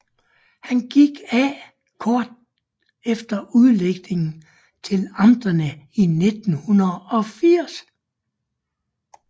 Han gik af kort efter udlægningen til amterne i 1980